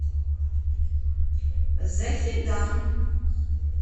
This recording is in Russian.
захедан